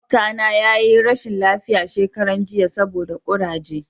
makwabata na yi rashin lafiya shekaran jiya saboda kuraje